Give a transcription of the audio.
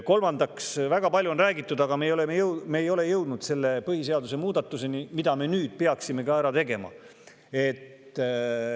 Kolmandaks, väga palju on räägitud põhiseaduse muudatusest, milleni me ei ole veel jõudnud, aga mille me nüüd peaksime ära tegema.